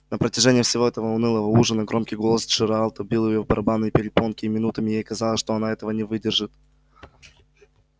на протяжении всего этого унылого ужина громкий голос джералда бил в её барабанные перепонки и минутами ей казалось что она этого не выдержит